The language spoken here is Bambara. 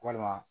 Walima